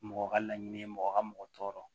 Mɔgɔ ka laɲini ye mɔgɔ ka mɔgɔ tɔɔrɔ